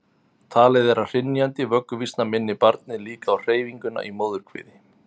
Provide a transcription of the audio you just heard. talið er að hrynjandi vögguvísna minni barnið líka á hreyfinguna í móðurkviði